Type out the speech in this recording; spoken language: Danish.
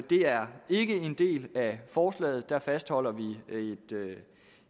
det er ikke en del af forslaget der fastholder vi